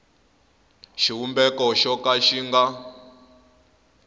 xivumbeko xo ka xi nga